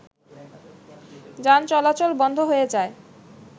যান চলাচল বন্ধ হয়ে যায়